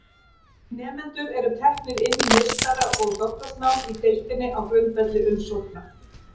Nemendur eru teknir inn í meistara- og doktorsnám í deildinni á grundvelli umsókna.